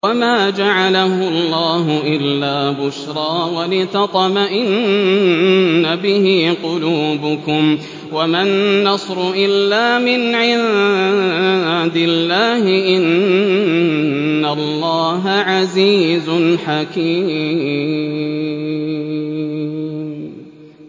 وَمَا جَعَلَهُ اللَّهُ إِلَّا بُشْرَىٰ وَلِتَطْمَئِنَّ بِهِ قُلُوبُكُمْ ۚ وَمَا النَّصْرُ إِلَّا مِنْ عِندِ اللَّهِ ۚ إِنَّ اللَّهَ عَزِيزٌ حَكِيمٌ